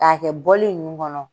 K'a kɛ ninnu kɔnɔ.